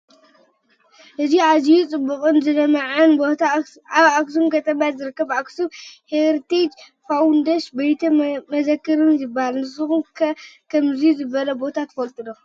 እዚ ኣዝዩ ፅቡቕን ዝለመዐን ቦታ ኣብ ኣክሱም ከተማ ዝርከብ ኣክሱም ሄሪቴጅ ፋውንዴሽንን ቤተ መዘርክን ይባሃል፡፡ ንስኹም ከ ከምዚ ዝበለ ቦታ ዶ ትፈልጡ?